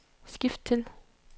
skift til